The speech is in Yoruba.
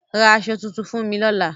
Ra àsọ tutun fún mi lọ́la.